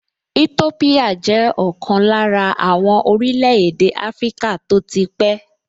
Ètópíyà jẹ́ ọ̀kan lára àwọn orílẹ̀-èdè áfríkà tó ti pẹ́